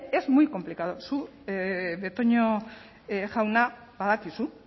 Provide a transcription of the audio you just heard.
es muy complicada zuk betoño jauna badakizu